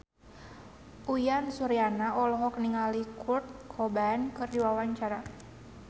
Uyan Suryana olohok ningali Kurt Cobain keur diwawancara